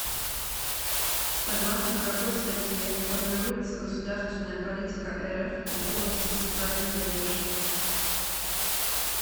согласно какой статье формируется государственная политика рф в области социальной поддержки